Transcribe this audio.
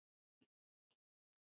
Hvíl í friði, kæra Katrín.